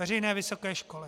Veřejné vysoké školy.